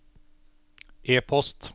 e-post